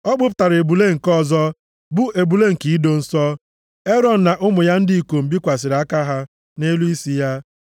O kpụpụtara ebule nke ọzọ, bụ ebule nke ido nsọ, Erọn na ụmụ ya ndị ikom bikwasịrị aka ha nʼelu isi ya.